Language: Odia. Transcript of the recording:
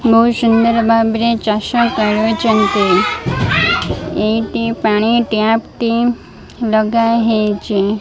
ବୋହୁତ ସୁନ୍ଦର ଭାବରେ ଚାଷ କରୁଛନ୍ତି। ଏହିଟି ପାଣି ଟପ୍ ଟି ଲଗା ହେଇଚି